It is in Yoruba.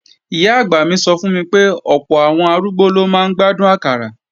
Ìyá-àgbà mi sọ fún mi pé ọ̀pọ̀ àwọn arúgbó ló máa ń gbádùn àkàrà